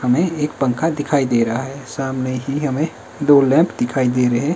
हमें एक पंखा दिखाई दे रहा है सामने ही हमें दो लैंप दिखाई दे रहे--